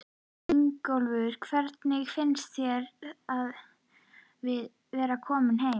Ingólfur: Hvernig finnst þér að vera kominn heim?